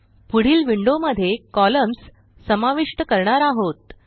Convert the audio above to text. पुढील विंडोमध्ये कॉलम्न्स समाविष्ट करणार आहोत